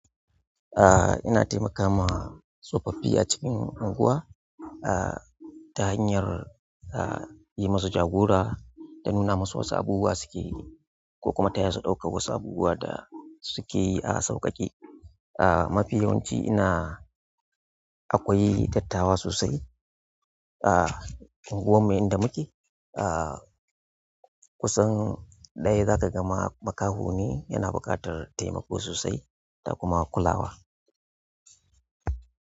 Ina taimakama tsofaffi a cikin unguwa, ta hanyar, yi musu jagora da nuna musu wasu abubuwa suke yi ko kuma taya su ɗaukan wasu abubuwa da suke yi a sauƙaƙe. Ah, mafi yawanci ina akwai dattawa sosai a unguwar mu inda muke kusan ɗaya za ka gama makaho ne yana buƙatar taimako sosai da kuma kulawa.